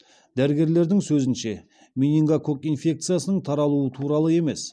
дәрігерлердің сөзінше менингококк инфекциясының тарауы туралы емес